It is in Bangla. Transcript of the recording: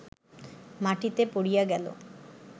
মাটিতে পড়িয়া গেল